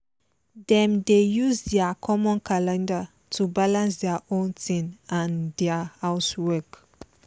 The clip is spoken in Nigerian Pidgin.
dem dey use their common calendar to balance their own thing and their house work